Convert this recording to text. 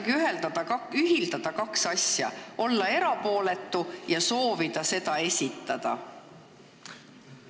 Kuidas ikkagi ühitada kaks asja, soov olla erapooletu ja soov eelnõu komisjoni nimel tutvustada?